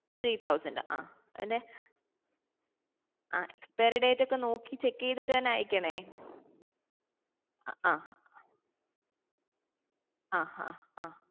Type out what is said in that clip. three thousand ah അതിൻ്റെ ആ expire date ഒക്കെ നോക്കി check ചെയ്‍തിട്ട് തന്നെ അയക്കണേ ആഹ് ആഹ് അഹ്